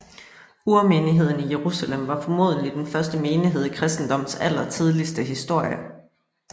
Urmenigheden i Jerusalem var formodentlig den første menighed i kristendommens allertidligste historie